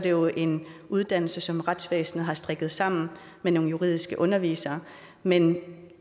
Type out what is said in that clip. jo er en uddannelse som retsvæsnet har strikket sammen med nogle juridiske undervisere men